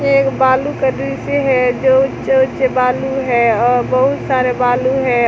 ये एक बालू का दृश्य है जो उज्जर उज्जर बालू है और बहुत सारे बालू है।